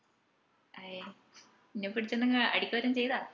അയെ ഇഞ പിടിച്ചു എന്തെങ്കിലും അടിക്കുവാറ്റം ചെയ്താ